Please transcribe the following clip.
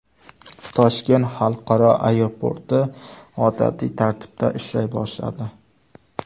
Toshkent xalqaro aeroporti odatiy tartibda ishlay boshladi.